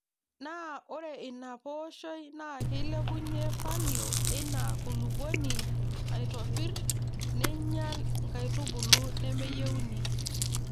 Naa ore ina pooshoi naa keilepunyie falio eina kulupuoni aitopirr neinyial nkaitubulu nemeyieuni.